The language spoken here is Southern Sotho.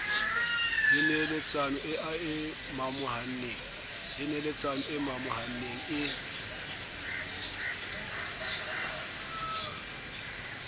le neeletsano e momohaneng e